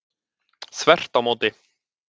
Þvert á móti.